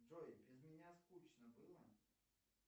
джой без меня скучно было